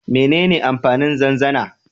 Menene amfanin zanzana?